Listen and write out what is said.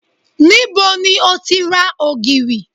Níbo ni o ti ra ògìrì?